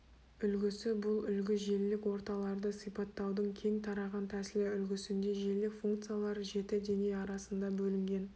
үлгісі бұл үлгі желілік орталарды сипаттаудың кең тараған тәсілі үлгісінде желілік функциялар жеті деңгей арасында бөлінген